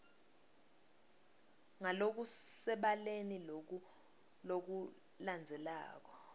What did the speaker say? ngalokusebaleni loku lokulandzelako